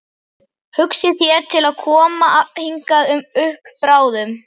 Hugsið þér til að koma hingað upp bráðum?